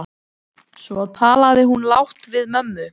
Svo talaði hún lágt við mömmu.